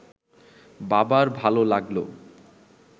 বাবার ভাল লাগল